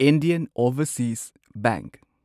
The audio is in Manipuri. Indian overseas bank